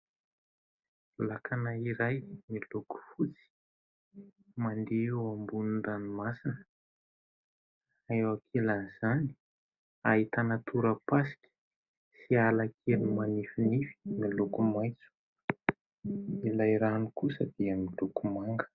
Lakana iray miloko fotsy, mandeha eo ambonin'ny ranomasina, eo ankilan' izany ahitana torapasika sy ala kely manifinify miloko maitso, ilay rano kosa dia miloko manga.